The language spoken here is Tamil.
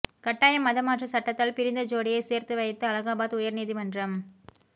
கட்டாய மத மாற்ற சட்டத்தால் பிரிந்த ஜோடியை சேர்த்து வைத்த அலகாபாத் உயர் நீதிமன்றம்